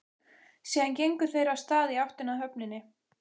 Síðan gengu þeir af stað í áttina að höfninni.